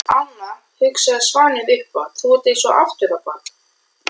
Anna, hugsaði Svanur upphátt, þú ert eins aftur á bak.